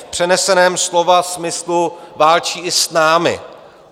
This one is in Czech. V přeneseném slova smyslu válčí i s námi.